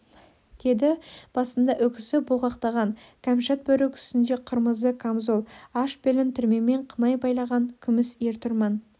деді басында үкісі бұлғақтаған кәмшат бөрік үстінде қырмызы камзол аш белін түрмемен қынай байлаған күміс ер-тұрман